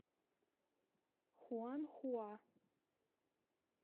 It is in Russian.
хуанхуа